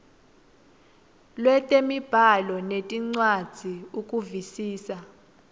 lwetemibhalo nencwadzi ukuvisisa